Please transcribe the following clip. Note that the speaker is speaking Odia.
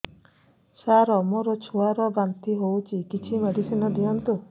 ସାର ମୋର ଛୁଆ ର ବାନ୍ତି ହଉଚି କିଛି ମେଡିସିନ ଦିଅନ୍ତୁ